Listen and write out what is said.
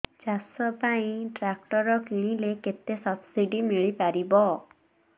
ଚାଷ ପାଇଁ ଟ୍ରାକ୍ଟର କିଣିଲେ କେତେ ସବ୍ସିଡି ମିଳିପାରିବ